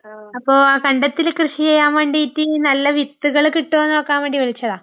അപ്പോ കണ്ടത്തില് കൃഷി ചെയ്യാൻ വേണ്ടീട്ട് നല്ല വിത്ത്കള് കിട്ടുമോ നു നോക്കാൻ വേണ്ടി വിളിച്ചതാ..